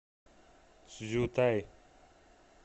цзютай